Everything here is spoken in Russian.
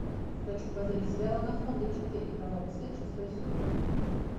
хочу позырить сериал анаконда четыре кровавый след шестой сезон